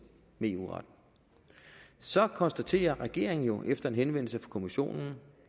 med eu retten så konstaterer regeringen jo efter en henvendelse fra kommissionen